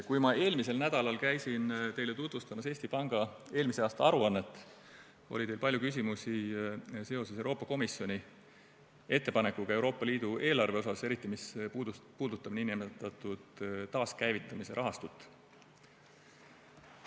Kui ma eelmisel nädalal käisin teile tutvustamas Eesti Panga eelmise aasta aruannet, oli teil palju küsimusi seoses Euroopa Komisjoni ettepanekuga Euroopa Liidu eelarve kohta, eriti mis puudutab nn taaskäivitamise rahastut.